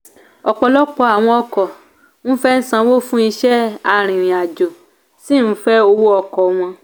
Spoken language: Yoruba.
ọpọlọpọ àwọn ọkọ ń fẹ sanwó fún iṣẹ́ arìnrìn-àjò sì ń fẹ owó ọkọ wọn.